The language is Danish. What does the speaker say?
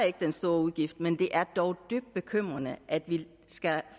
ikke den store udgift men det er dog dybt bekymrende at vi skal